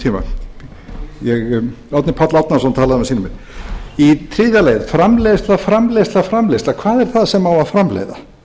árnason talaði um á sínum tíma í þriðja lagi framleiðsla framleiðsla framleiðsla hvað er það sem á að framleiða